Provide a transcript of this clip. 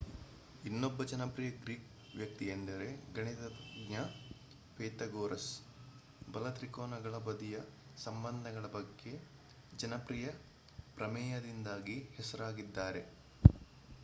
ಇನ್ನೊಬ್ಬ ಜನಪ್ರಿಯ ಗ್ರೀಕ್ ವ್ಯಕ್ತಿಯೆಂದರೆ ಗಣಿತತಜ್ಞ ಪೈಥಾಗೊರಸ್ ಬಲ ತ್ರಿಕೋನಗಳ ಬದಿಯ ಸಂಬಂಧಗಳ ಬಗ್ಗೆ ಜನಪ್ರಿಯ ಪ್ರಮೇಯದಿಂದಾಗಿ ಹೆಸರಾಗಿದ್ದಾರೆ